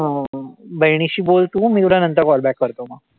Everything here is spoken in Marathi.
हो बहिणीशी बोल तू. मी तुला नंतर call back करतो मग.